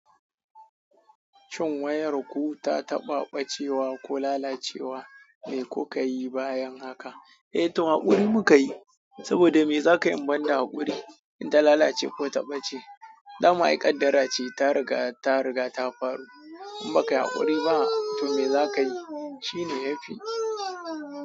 Shin wayarku ta taɓa ɓacewa ko lalacewa? Me kuka yi bayan haka? Eh to haƙuri muka yi. Saboda me za ka yi in ban da haƙuri in ta lalace ko ta ɓace? Dama ai ƙadara ce ta riga, ta riga ta faru. In baka yi haƙuri ba to me za ka yi? Shi ne yafi.